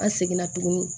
An seginna tuguni